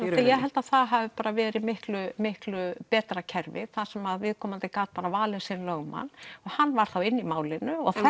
ég held að það hafi verið miklu miklu betra kerfi þar sem viðkomandi gat valið sinn lögmann og hann var þá inni í málinu og